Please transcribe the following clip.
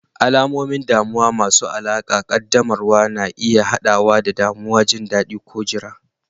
Alamomin damuwa masu alaƙa ƙaddamarwa na iya haɗawa da damuwa, jin daɗi, ko jira.